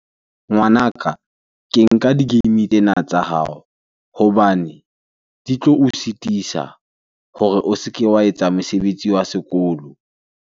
Ngwanaka, ke nka di-game ena tsa hao hobane di tlo o sitisa hore o se ke wa etsa mesebetsi wa sekolo.